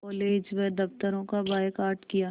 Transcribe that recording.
college व दफ़्तरों का बायकॉट किया